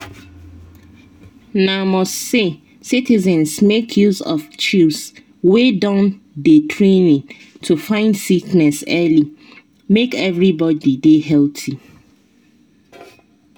na must say citizens make use of chws wey don get training to find sickness early make everybody dey healthy.